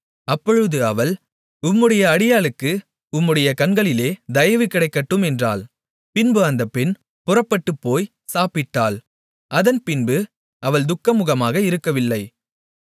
அப்பொழுது அவள் உம்முடைய அடியாளுக்கு உம்முடைய கண்களிலே தயவு கிடைக்கட்டும் என்றாள் பின்பு அந்த பெண் புறப்பட்டுப்போய் சாப்பிட்டாள் அதன்பின்பு அவள் துக்கமுகமாக இருக்கவில்லை